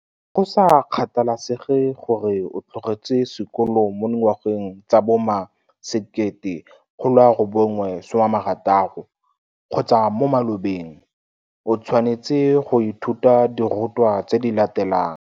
Go sa kgathalesege gore o tlogetse sekolo mo dingwageng tsa bo ma 1960 kgotsa mo malobeng, o tshwanetse go ithuta dirutwa tse di latelang.